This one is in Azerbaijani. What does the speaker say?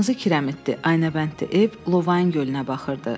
Qırmızı kirəmidli, aynabəndli ev Lovain gölünə baxırdı.